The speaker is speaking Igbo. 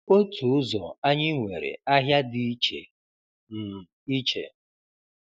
Otu ụzọ anyị nwere ahịa dị iche um iche